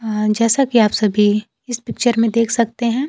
अं जैसा की आप सभी इस पिक्चर में देख सकते हैं--